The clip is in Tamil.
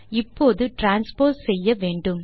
இப்போது டிரான்ஸ்போஸ் செய்ய வேண்டும்